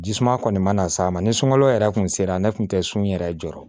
Jisuman kɔni mana s'a ma ni sunɔgɔli yɛrɛ tun sera ne tun tɛ sunun yɛrɛ jɔrɔ